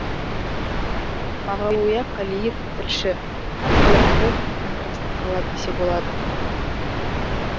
мағауия қалиев тілші арқалықты контрасты қала десе болады